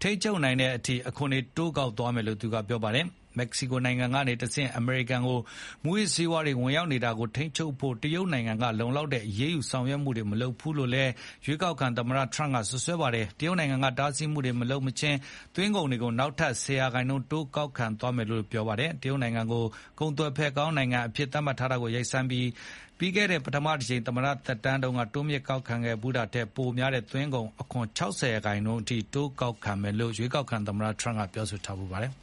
ထိန်းချုပ်နိုင်တဲ့ အချိန်အထိ အခွန်တွေကို တိုးကောက်သွားမယ်လို့လည်း ပြောပါတယ်။ မက္ကစီကိုနိုင်ငံကနေတဆင့် အမေရိကန်ကို မူးယစ်ဆေးဝါးတွေ ဝင်ရောက်နေတာကို ထိန်းချုပ်ဖို့ တရုတ်နိုင်ငံက လုံလောက်တဲ့ အရေးယူဆောင်ရွက်မှုတွေ မလုပ်ဘူးလို့လည်း ရွေးကောက်ခံသမ္မတထရမ့်က စွပ်စွဲခဲ့တာပါ။ တရုတ်နိုင်ငံက တားဆီးမှုတွေ မလုပ်မချင်း သွင်းကုန်ခွန်တွေကို နောက်ထပ် ၁၀ ရာခိုင် တိုးကောက်သွားမယ်လို့လည်း ပြောပါတယ်။ တရုတ်နိုင်ငံကို ကုန်သွယ်ဖက်ကောင်း နိုင်ငံအဖြစ် သတ်မှတ်ထားတာကို ရပ်ဆိုင်းပြီး၊ ပြီးခဲ့တဲ့ ပထမတကြိမ် သမ္မတသက်တမ်းတုန်းက တိုးမြှင့်ကောက်ခံခဲ့ဖူးတာထက် ပိုများတဲ့ သွင်းကုန်ခွန် ၆၀ ရာခိုင်နှုန်းအထိ ကောက်ခံမယ်လို့လည်း ရွေးကောက်ခံသမ္မတထရမ့် အရင်က ပြောထားဖူးပါတယ်။